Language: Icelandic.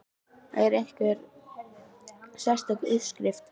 Er þetta einhver sérstök uppskrift?